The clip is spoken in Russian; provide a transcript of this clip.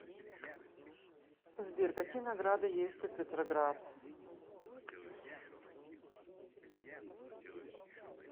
сбер какие награды есть у петроград